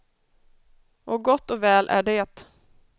Och gott och väl är det.